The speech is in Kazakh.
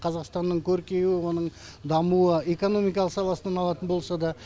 қазақстанның көркеюі оның дамуы экономикалық саласынан алатын болса да